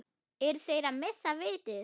Eru þeir að missa vitið?